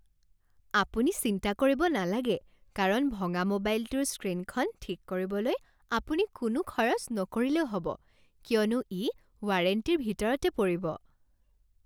আপুনি চিন্তা কৰিব নালাগে কাৰণ ভঙা মোবাইলটোৰ স্ক্ৰীণখন ঠিক কৰিবলৈ আপুনি কোনো খৰচ নকৰিলেও হ'ব কিয়নো ই ৱাৰেণ্টিৰ ভিতৰতে পৰিব।